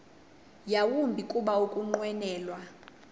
yawumbi kuba ukunqwenela